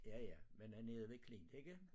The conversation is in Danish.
Ja ja men er nede ved klint ikke